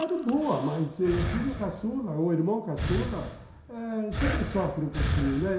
Era boa, mas o filho caçula, o irmão caçula, eh sempre sofre um pouquinho, né?